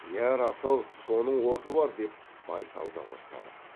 иә рас ау соның оты бар деп байсал да қостады